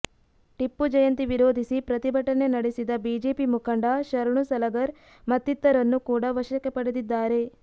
ಟಿಪ್ಪು ಜಯಂತಿ ವಿರೋಧಿಸಿ ಪ್ರತಿಭಟನೆ ನಡೆಸಿದ ಬಿಜೆಪಿ ಮುಖಂಡ ಶರಣು ಸಲಗರ್ ಮತ್ತಿತರರನ್ನು ಕೂಡ ವಶಕ್ಕೆ ಪಡೆದಿದ್ದಾರೆ